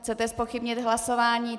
Chcete zpochybnit hlasování ?